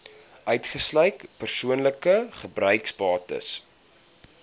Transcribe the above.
uitgesluit persoonlike gebruiksbates